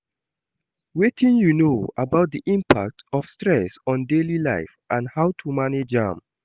Wetin you know about di impact of stress on daily life and how to manage am?